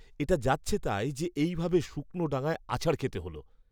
এটা যাচ্ছেতাই যে, এই ভাবে শুকনো ডাঙায় আছাড় খেতে হল।